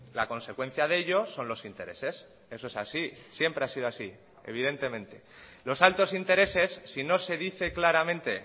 la consecuencia de ello son los intereses eso es así siempre ha sido así evidentemente los altos intereses si no se dice claramente